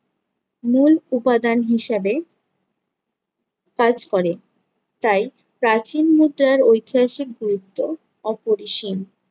মূল উপাদান হিসাবে কাজ করে, তাই প্রাচীন মুদ্রার ঐতিহাসিক গুরুত্ব অপরিসীম।